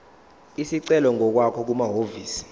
isicelo ngokwakho kumahhovisi